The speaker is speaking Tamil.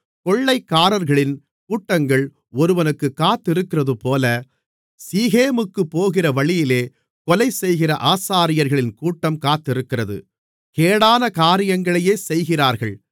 கொள்ளைக்காரர்களின் கூட்டங்கள் ஒருவனுக்குக் காத்திருக்கிறதுபோல சீகேமுக்குப் போகிற வழியிலே கொலைசெய்கிற ஆசாரியர்களின் கூட்டம் காத்திருக்கிறது கேடான காரியங்களையே செய்கிறார்கள்